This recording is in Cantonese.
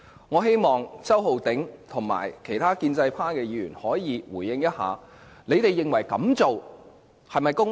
我希望周浩鼎議員及其他建制派議員可以回應一下，他們認為這樣做是否公平？